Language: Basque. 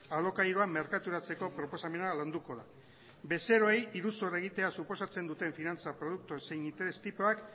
alokairua merkaturatzeko proposamena landuko da bezeroei iruzur egitea suposatzen duten finantza produktu zein interes tipoak